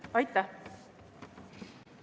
Aitäh!